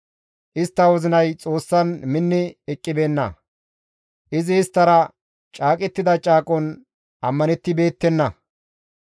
Istta wozinay Xoossan minni eqqibeenna; izi isttara caaqettida caaqon ammanettibeettenna.